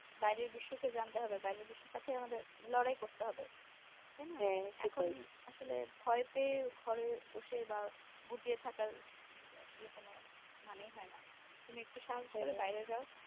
বাইরের বিশ্ব কে জানতে হবে বাইরের বিশ্বের সাথে আমাদের লড়াই করতে হবে তাই না এখন আসলে ভয় পেয়ে ঘরে বসে বা গুটিয়ে থাকার আসলে কোনো মানেই হয়না তুমি একটু সাহস করে বাহিরে যাও